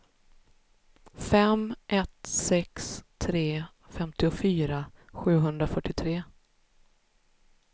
fem ett sex tre femtiofyra sjuhundrafyrtiotre